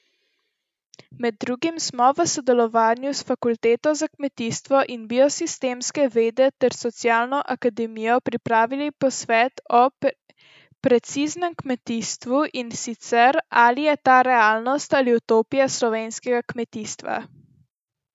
Med drugim smo v sodelovanju s fakulteto za kmetijstvo in biosistemske vede ter socialno akademijo pripravili posvet o preciznem kmetijstvu, in sicer, ali je ta realnost ali utopija slovenskega kmetijstva.